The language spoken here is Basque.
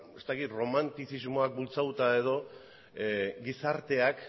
ez dakit erromantizismoak bultzatuta edo gizarteak